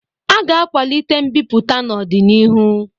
A ga-akwalite mbipụta n'ọdịnihu